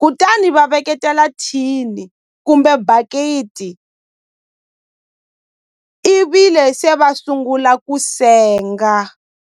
kutani va veketela thini kumbe bakiti i vi le se va sungula ku senga.